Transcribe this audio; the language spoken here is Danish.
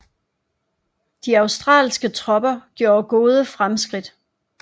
De australske tropper gjorde gode fremskridt